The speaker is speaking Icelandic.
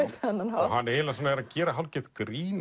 hann eiginlega er að gera hálfgert grín